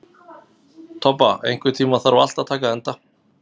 Tobba, einhvern tímann þarf allt að taka enda.